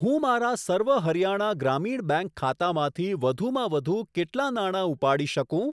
હું મારા સર્વ હરિયાણા ગ્રામીણ બેંક ખાતામાંથી વધુમાં વધુ કેટલા નાણા ઉપાડી શકું?